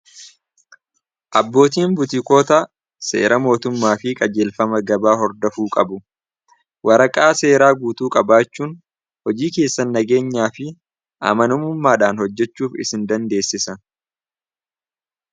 abbootiin butiikoota seera mootummaa fi qajeelfama gabaa hordafuu qabu waraqaa seeraa guutuu qabaachuun hojii keessan nageenyaa fi amanamummaadhaan hojjechuuf isin dandeessisa